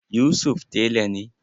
Yusuf tela na.